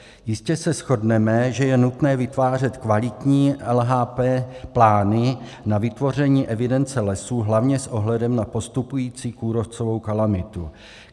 Jistě se shodneme, že je nutné vytvářet kvalitní LHP plány na vytvoření evidence lesů, hlavně s ohledem na postupující kůrovcovou kalamitu.